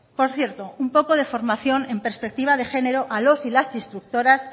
por cierto un poco de formación en perspectiva de género a los y las instructoras